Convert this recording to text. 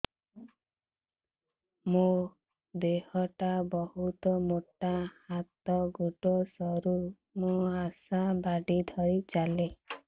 ମୋର ଦେହ ଟା ବହୁତ ମୋଟା ହାତ ଗୋଡ଼ ସରୁ ମୁ ଆଶା ବାଡ଼ି ଧରି ଚାଲେ